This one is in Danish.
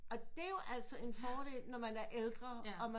Og det er jo altså en fordel når man er ældre og man